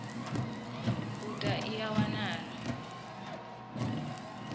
u ta ine ya wanala